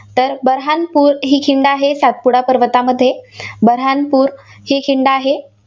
तर बऱ्हाणपूर ही खिंड आहे, सातपुडा पर्वतामध्ये बऱ्हाणपूर ही खिंड आहे.